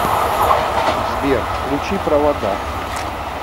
сбер включи правада